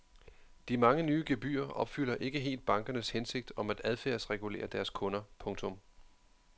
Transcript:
De mange nye gebyrer opfylder ikke helt bankernes hensigt om at adfærdsregulere deres kunder. punktum